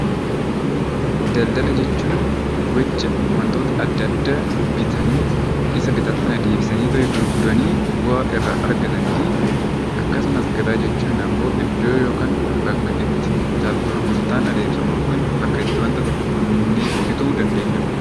Daldala jechuun gocha wantoota adda addaa bitanii Isa bitan sana deebisanii gurguranii bu'aa irraa argatanii fi akkasumas gabaa jechuun immoo iddoo yookiin bakka itti bittaa fi gurgurtaan taasifamu bakka itti wanta tokko bituu dandeenyudha.